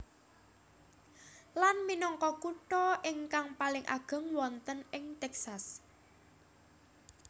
Lan minangka kutha ingkang paling ageng wonten ing Texas